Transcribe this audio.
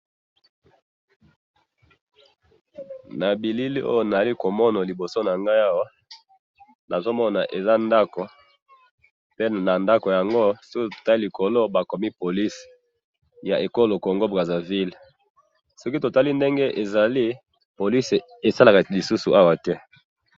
na bilili oyo nazali komana liboso nanga awa nazo mona eza ndaku pe na ndaku ango si otala likolo bakomi police ya congo brazza ville soki totali ndenge ezali police esalaka lisusu awa te